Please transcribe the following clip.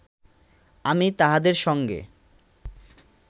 আমি তাহাদের সঙ্গে